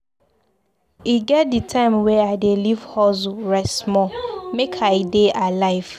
E get di time wey I dey leave hustle rest small, make I dey alive.